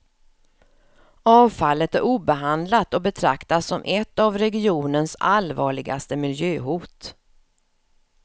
Avfallet är obehandlat och betraktas som ett av regionens allvarligaste miljöhot.